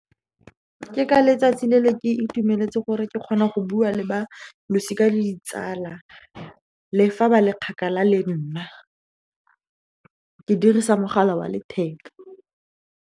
Ke ka letsatsi le ne ke itumeletse gore ke kgona go bua le ba losika le ditsala, le fa ba le kgakala le nna, ke dirisa mogala wa letheka.